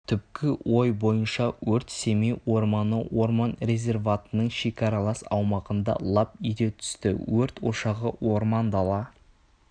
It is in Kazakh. түпкі ой бойынша өрт семей орманы орман резерватының шекаралас аумағында лап ете түсті өрт ошағы орман-дала